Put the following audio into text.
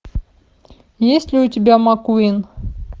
есть ли у тебя маккуин